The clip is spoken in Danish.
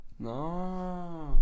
Nåh